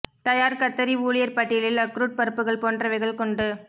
தயார் கத்தரி ஊழியர் பட்டியலில் அக்ரூட் பருப்புகள் போன்றவைகள் கொண்டு